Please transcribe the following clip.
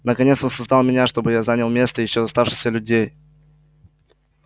наконец он создал меня чтобы я занял место ещё оставшихся людей